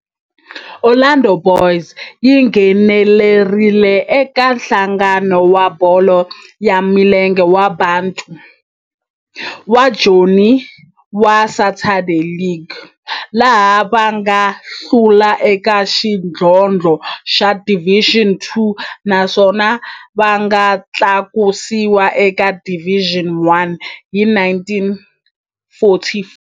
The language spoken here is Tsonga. Orlando Boys yi nghenelerile eka Nhlangano wa Bolo ya Milenge wa Bantu wa Joni wa Saturday League, laha va nga hlula eka xidlodlo xa Division Two naswona va nga tlakusiwa eka Division One hi 1944.